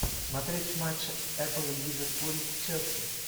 смотреть матч эпл ливерпуль челси